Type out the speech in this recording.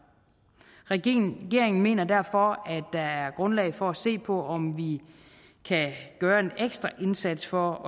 regeringen mener derfor at der er grundlag for at se på om vi kan gøre en ekstra indsats for